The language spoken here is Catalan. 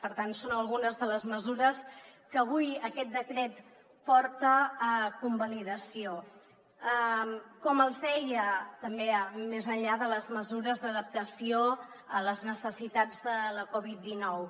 per tant són algunes de les mesures que avui aquest decret porta a convalidació també més enllà de les mesures d’adaptació a les necessitats de la covid dinou